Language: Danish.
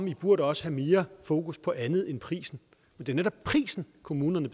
i burde også have mere fokus på andet end prisen det er netop prisen kommunerne